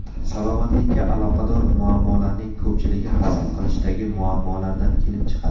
Salomatlikka aloqador muammolarning ko‘pchiligi hazm qilishdagi muammolardan kelib chiqadi.